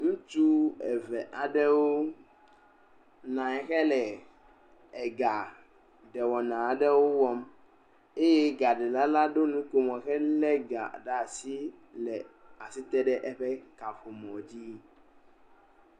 Ŋutsu eve aɖewo nɔ anyi hele egaɖewɔna aɖewo wɔm eye egaɖela la ɖo nukomo helé ega ɖe asi le asi te ɖe eƒe kaƒomɔ dzi.